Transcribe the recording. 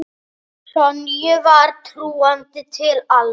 Sonju var trúandi til alls.